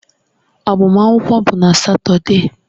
Agbamakwụkwọ bụ na Satọde